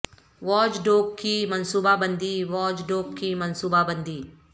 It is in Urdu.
واج ڈوگ کی منصوبہ بندی واج ڈوگ کی منصوبہ بندی